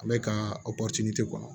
Ale ka kɔnɔ